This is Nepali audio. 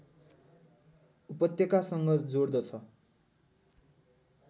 उपत्यकासँग जोड्दछ